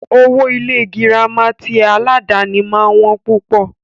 Owó Ilé ìwé gírámà tí aládàni máà ń wọ́n púpọ̀.